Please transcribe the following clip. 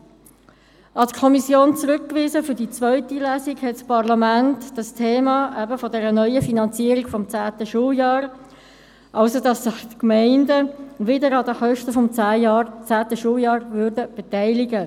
Für die zweite Lesung an die Kommission zurückgewiesen hat das Parlament das Thema neue Finanzierung des zehnten Schuljahrs, wonach sich die Gemeinden wieder an dessen Kosten beteiligen würden.